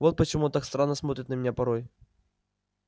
вот почему он так странно смотрит на меня порой